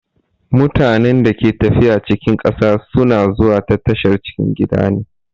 Mutanen da ke tafiya cikin ƙasa sun a zuwa ta tashar cikin gida ne.